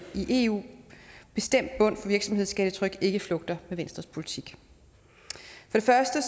i eu bestemt bund for virksomhedsskattetryk ikke flugter venstres politik først og